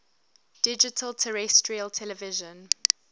digital terrestrial television